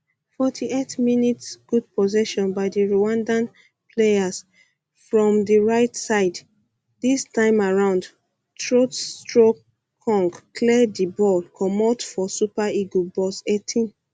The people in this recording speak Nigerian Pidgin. fourty eight mins good possession by di rwandan players from di rigjht side dis time around troostekong clear di ball comot for super eagles box eighteen